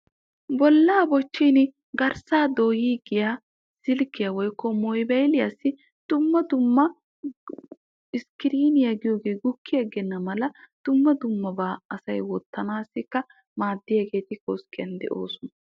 Bollaa bochchin garssaa doyiigiyaa silkkiyaa woykko mobayiliyaa iskiriniyaa giyoogee gukki agenna mala dumma dummabaa asay wottana mala maaddiyaagetuppe issuwaa gidoosona.